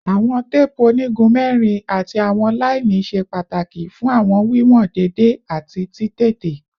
Awọn teepu onigun mẹrin ati awọn laini ṣe pataki fun awọn wiwọn deede ati titete